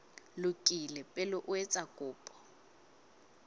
lokile pele o etsa kopo